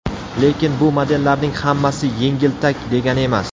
Lekin bu modellarning hammasi yengiltak degani emas.